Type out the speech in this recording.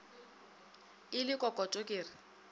e le kokoto ke re